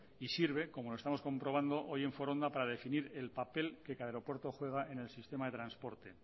y sirve como lo estamos comprobando hoy en foronda para definir el papel que cada aeropuerto juega en el sistema de transporte